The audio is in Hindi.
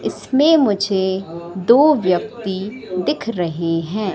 इसमें मुझे दो व्यक्ति दिख रहे हैं।